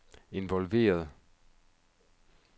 involveret